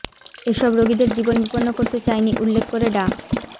এসব রোগীদের জীবন বিপন্ন করতে চাইনি উল্লেখ করে ডা